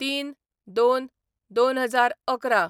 ०३/०२/२०११